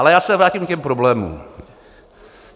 Ale já se vrátím k těm problémům.